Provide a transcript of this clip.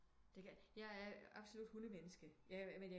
Det kan jeg er absolut hundemenneske jeg men